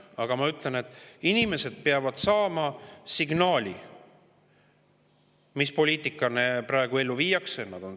Aga ma ütlen, et inimesed peavad saama signaali, mis poliitikat praegu ellu viiakse.